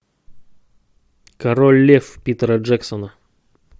король лев питера джексона